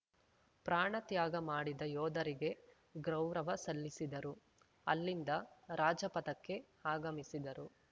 ಪ್ರಾಣ ತ್ಯಾಗ ಮಾಡಿದ ಯೋಧರಿಗೆ ಗೌರವ ಸಲ್ಲಿಸಿದರು ಅಲ್ಲಿಂದ ರಾಜಪಥಕ್ಕೆ ಆಗಮಿಸಿದರು